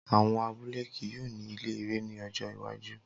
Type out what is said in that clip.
Awọn abule kii yoo ni ile ẹrẹ ni ọjọ iwaju